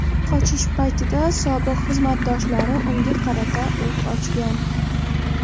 Qochish paytida sobiq xizmatdoshlari unga qarata o‘t ochgan.